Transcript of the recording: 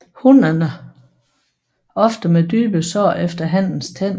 Hunnerne ofte med dybe sår efter hannens tænder